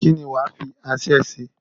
kí ni wàá fi aṣẹ́ ṣe?